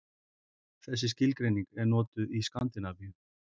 Þessi skilgreining er notuð í Skandinavíu.